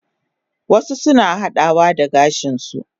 Wasu suna hadawa da gashin su